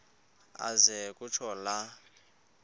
aze kutsho la